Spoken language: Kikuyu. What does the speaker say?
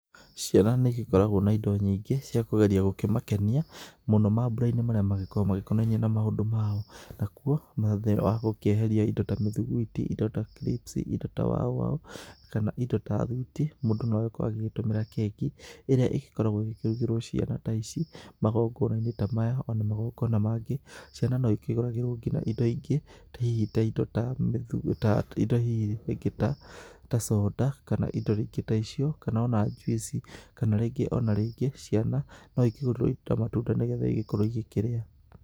Ciana nĩ igĩkoragwo na indo nyingĩ cia kũgeria gũkĩmakenia mũno mambura-inĩ marĩa magĩkoragwo magĩkonainie na maũndũ mao. Nakuo na thengia wa gũkĩeheria indo ta mĩthuguiti, indo ta crips indo ta wow wow kana indo ta thwiti, mũndũ no agĩkorwo agĩgĩtũmĩra keki ĩrĩa ĩgĩkoragwo ĩgĩkĩrugĩrwo ciana ta ici, magongona-inĩ ta maya o na magongona mangĩ. Ciana no ikĩgũragĩrwo nginya indo ingĩ, hihi indo ta rĩngĩ ta conda kana rĩngĩ indo ta icio, kana o na ta juice kana rĩngĩ o na rĩngĩ ciana no ikĩgũrĩrwo indo ta matunda, nĩgetha igĩkorwo igĩkĩrĩa.